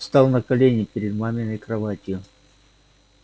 встал на колени перед маминой кроватью